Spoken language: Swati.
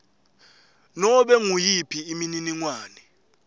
nobe nguyiphi imininingwane